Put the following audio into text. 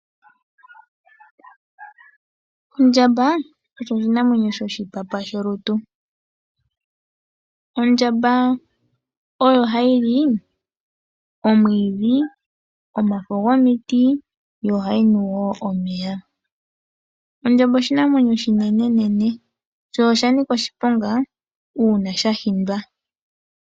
Ondjamba osho oshinamwenyo shoshipapa sholutu. Ondjamba oyo ha yili omwiidhi, omafo gomiti yo ohayi nu wo omeya. Ondjamba oshinamwenyo oshinenenene sho oshanika oshiponga uuna sha hindwa.